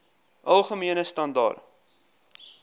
algemene standaar